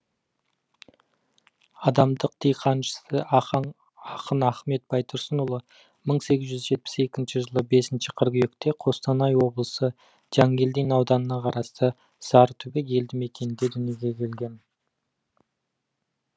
адамдық диқаншысы ахаң ақын ахмет байтұрсынұлы мың сегіз жүз жетпіс екінші жылы бесінші қыркүйекте қостанай облысы жангелдин ауданына қарасты сарытүбек елді мекенінде дүниеге келген